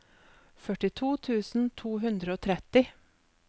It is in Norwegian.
førtito tusen to hundre og tretti